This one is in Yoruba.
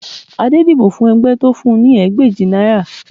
Adé dìbò fún ẹgbẹ́ tí ó fún un ní ẹgbàajì náírà